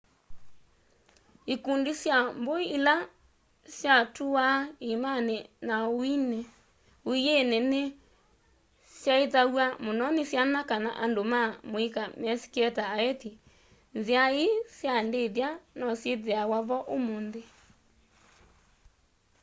ikundi sya mbui ila syatuuwaa iimani na uiini ni syaithyawa muno ni syana kana andu ma muika mesikie ta aithi nzia ii sya ndithya no syithiawa vo umunthi